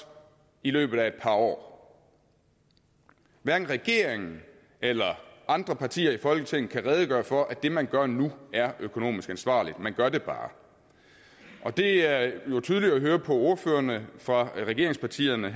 i løbet af et par år hverken regeringen eller andre partier i folketinget kan redegøre for at det man gør nu er økonomisk ansvarligt man gør det bare det er jo tydeligt at høre på ordførerne fra regeringspartierne